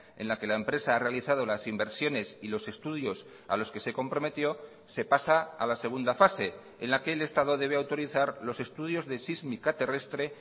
en la que la empresa ha realizado las inversiones y los estudios a los que se comprometió se pasa a la segunda fase en la que el estado debe autorizar los estudios de sísmica terrestre